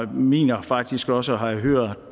mener faktisk også at have hørt